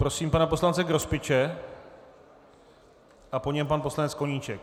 Prosím pana poslance Grospiče a po něm pan poslanec Koníček.